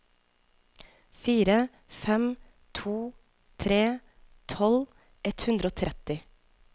fire fem to tre tolv ett hundre og tretti